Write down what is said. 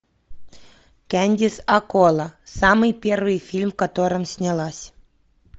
кэндис аккола самый первый фильм в котором снялась